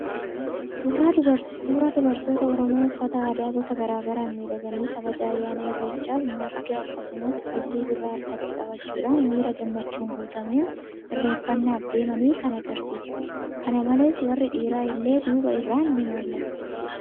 Suuraa dubartoota Oromoo uffata aadaa gosa garaagaraan miidhaganii kabaja ayyaana Irreechaaf marga akkasumas ilillii birraa harkatti qabachuudhaan miira gammachuun guutameen irreeffannaaf deemanii kan argisiisudha. Kana malees warri dhiiraa illee duuba irraan ni mul'atu.